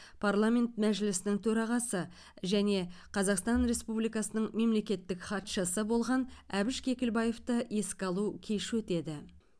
парламент мәжілісінің төрағасы және қазақстан республикасының мемлекеттік хатшысы болған әбіш кекілбаевты еске алу кеші өтеді